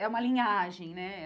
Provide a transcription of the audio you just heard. É uma linhagem, né?